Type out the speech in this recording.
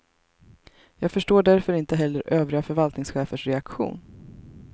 Jag förstår därför inte heller övriga förvaltningschefers reaktion.